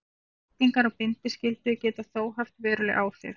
Breytingar á bindiskyldu geta þó haft veruleg áhrif.